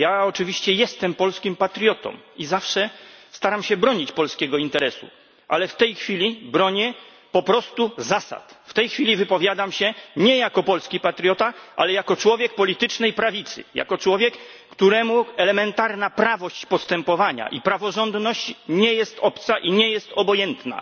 Ja oczywiście jestem polskim patriotą i zawsze staram się bronić polskiego interesu, ale w tej chwili bronię po prostu zasad, w tej chwili wypowiadam się nie jako polski patriota, ale jako człowiek politycznej prawicy, jako człowiek, któremu elementarna prawość postępowania i praworządność nie są obce i nie są obojętne.